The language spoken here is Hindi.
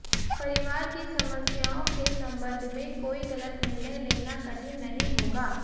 परिवार की समस्याओं के संबंध में कोई गलत निर्णय लेना कठिन नहीं होगा